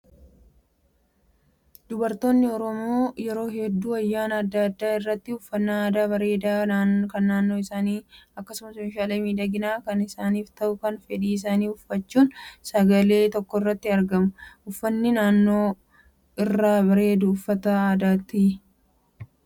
Dubaroonni oromoo yeroo hedduu ayyaana adda addaa irratti uffannaa aadaa bareedaa kan naannoo isaanii akkasumas meeshaalee miidhaginaa kan isaaniif ta'u kan fedhii isaanii uffachuun sagantaa tokkorratti argamu. Uffannaan dubaroota irraa bareedu uffata aadaatii?